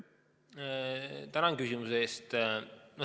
Tänan küsimuse eest!